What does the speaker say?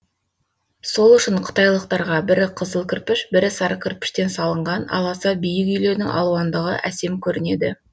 сол үшін қытайлықтарға бірі қызыл кірпіш бірі сары кірпіштен салынған аласа биік үйлердің алуандығы әсем көрінеді